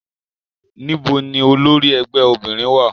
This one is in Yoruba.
Nibo ni olori ẹgbẹ obinrin wa?